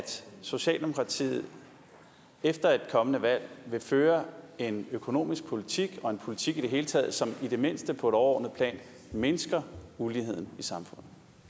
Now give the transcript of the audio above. socialdemokratiet efter et kommende valg vil føre en økonomisk politik og en politik i det hele taget som i det mindste på et overordnet plan mindsker uligheden